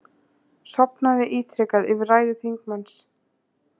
Sofnaði ítrekað yfir ræðu þingmanns